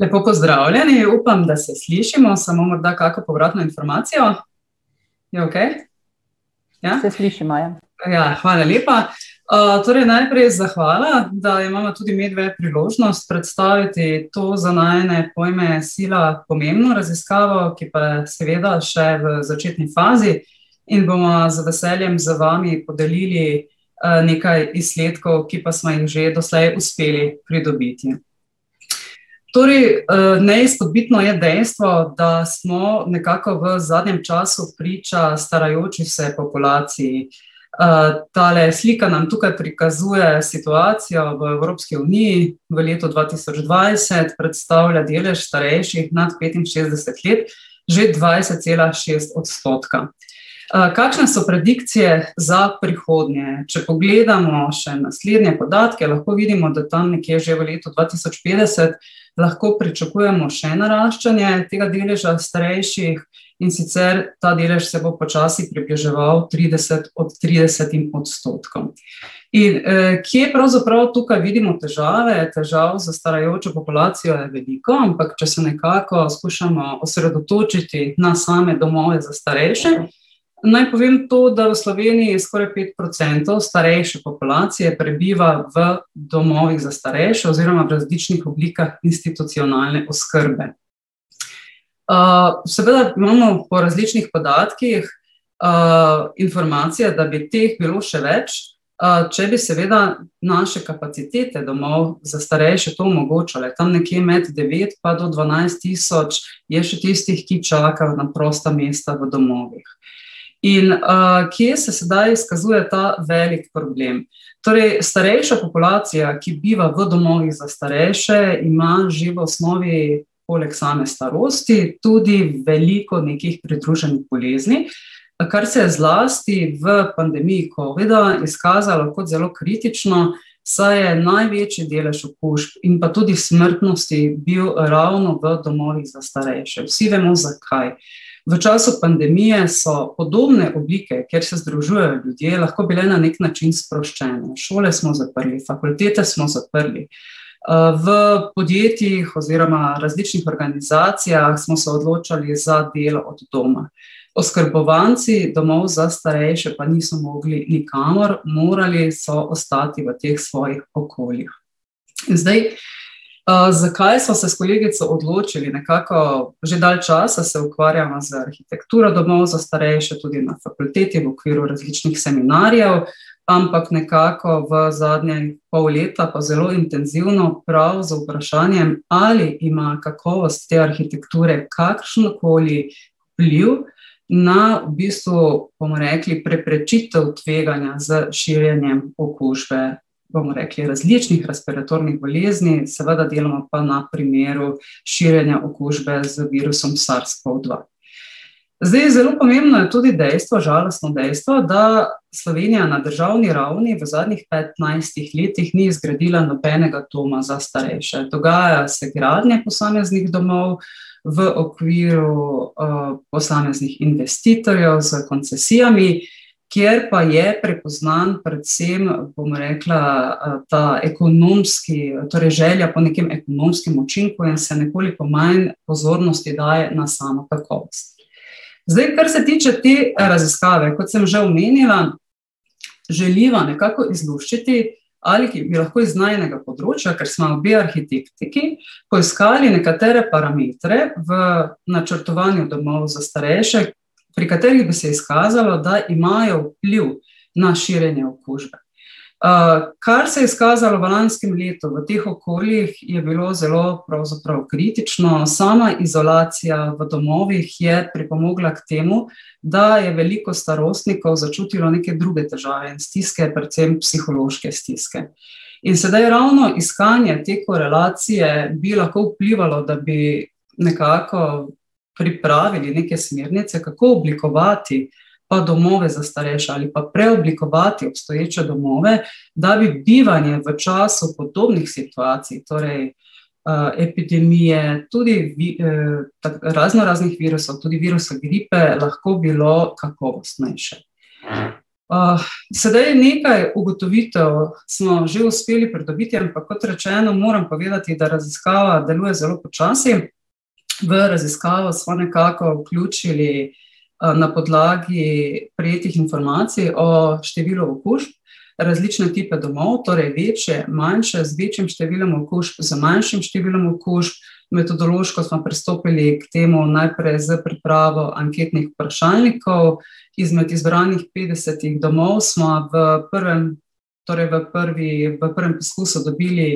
Lepo pozdravljeni, upam, da se slišimo, samo morda kako povratno informacijo? Je okej? Ja? Ja, hvala lepa. torej naprej zahvala, da imava tudi midve priložnost predstaviti to, za najine pojme sila pomembno raziskavo, ki pa je seveda še v začetni fazi, in bova z veseljem z vami podelili, nekaj izsledkov, ki pa sva jih že doslej uspeli pridobiti. Torej, neizpodbitno je dejstvo, da smo nekako v zadnjem času priča starajoči se populaciji. tale slika nam tukaj prikazuje situacijo v Evropski uniji, v letu dva tisoč dvajset, predstavlja delež starejših nad petinšestdeset let, že dvajset cela šest odstotka. kakšne so predikcije za prihodnje? Če pogledamo še naslednje podatke, lahko vidimo, da tam nekje že v letu dva tisoč petdeset lahko pričakujemo še naraščanje tega deleža starejših, in sicer ta delež se bo počasi približeval trideset tridesetim odstotkom. In, kje pravzaprav tukaj vidimo težave, težav s starajočo populacijo je veliko, ampak če se nekako skušamo osredotočiti na same domove za starejše, naj povem to, da v Sloveniji skoraj pet procentov starejše populacije prebiva v domovih za starejše oziroma različnih oblikah institucionalne oskrbe. seveda imamo po različnih podatkih, informacije, da bi teh bilo še več, če bi seveda naše kapacitete domov za starejše to omogočale, tam nekje med devet pa do dvanajst tisoč je še tistih, ki čakajo na prosta mesta v domovih. In, kje se sedaj izkazuje ta velik problem? Torej, starejša populacija, ki biva v domovih za starejše, ima že v osnovi polg same starosti tudi veliko nekih pridruženih bolezni, kar se je zlasti v pandemiji covida izkazalo kot zelo kritično, saj je največji delež okužb in pa tudi smrtnosti bil ravno v domovih za starejše, vsi vemo, zakaj. V času pandemije so podobne oblike, kjer se združujejo ljudje, lahko bile na neki način sproščene, šole smo zaprli, fakultete smo zaprli, v podjetjih oziroma različnih organizacijah smo se odločali za delo od doma. Oskrbovanci domov za starejše pa niso mogli nikamor, morali so ostati v teh svojih okoljih. Zdaj, zakaj sva se s kolegico odločili, nekako že dalj časa se ukvarjava z arhitekturo domov za starejše, tudi na fakulteti v okviru različnih seminarjev, ampak nekako v zadnje pol leta pa zelo intenzivno prav z vprašanjem, ali ima kakovost te arhitekture kakšen koli vpliv na, v bistvu, bomo rekli, preprečitev tveganja za širjenje okužbe, bomo rekli, različnih respiratornih bolezni, seveda delamo pa na primeru širjenja okužbe z virusom SARS-Covid-dva. Zdaj, zelo pomembno je tudi dejstvo, žalostno dejstvo, da Slovenija na državni ravni v zadnjih petnajstih letih ni zgradila nobenega doma za starejše, dogajajo se gradnje posameznih domov v okviru, posameznih investitorjev s koncesijami, kjer pa je prepoznan predvsem, bom rekla, ta ekonomski, torej želja po nekem ekonomskem učinku in se nekoliko manj pozornosti daje na samo kakovost. Zdaj, kar se tiče te raziskave, kot sem že omenila, želiva nekako izluščiti bi lahko iz najinega področja, ker sva obe arhitektki, poiskali nekatere parametre v načrtovanju domov za starejše, pri katerih bi se izkazalo, da imajo vpliv na širjenje okužbe. kar se je izkazalo v lanskem letu, v teh okoljih, je bilo zelo pravzaprav kritično, sama izolacija v domovih je pripomogla k temu, da je veliko starostnikov začutilo neke druge težave, stiske, predvsem psihološke stiske. In sedaj ravno iskanje te korelacije bi lahko vplivalo, da bi nekako pripravili neke smernice, kako oblikovati, domove za starejše ali pa preoblikovati obstoječe domove, da bi bivanje v času podobnih situacij, torej, epidemije, tudi raznoraznih virusov, tudi virusu gripe, lahko bilo kakovostnejše. sedaj nekaj ugotovitev smo že uspeli pridobiti, ampak kot rečeno, moram povedati, da raziskava deluje zelo počasi. V raziskavo sva nekako vključili, na podlagi prejetih informacij o številu okužb različne tipe domov, torej večje, manjše, z večjim številom okužb, z manjšim številom okužb, metodološko sva pristopili k temu najprej s pripravo anketnih vprašalnikov, izmed izbranih petdesetih domov sva v prvem, torj v prvi, v prvem poskusu dobili